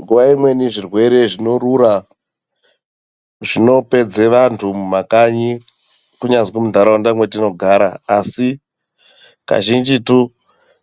Nguwa imweni zvirwere zvinorura zvinopedze vantu mumakanyi kunyazwi muntaraunda mwetinogara, Asi kazhinjitu